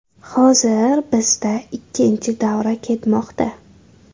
Hozir bizda ikkinchi davra ketmoqda.